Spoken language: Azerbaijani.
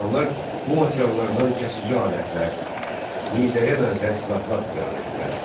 İnsanlar bu materiallardan kəsici alətlər, nizəyə bənzər silahlar düzəldirdilər.